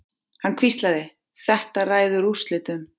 Hann hvíslaði: Þetta ræður úrslitum.